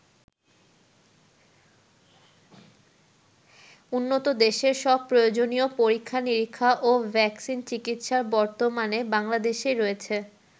উন্নত দেশের সব প্রয়োজনীয় পরীক্ষা-নীরিক্ষা ও ভ্যাকসিন চিকিৎসা বর্তমানে বাংলাদেশেই রয়েছে।